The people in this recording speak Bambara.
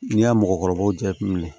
N'i y'a mɔgɔkɔrɔbaw jateminɛ